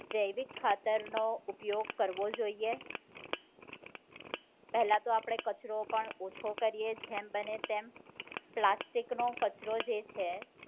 જૈવિક ખાતર નો ઉપયોગ કરવો જોઈએ પહેલા તો આપણે કચરો પણ ઓછો કરીએ જેમ બને તેમ પ્લાસ્ટિક નો કચરો જે છે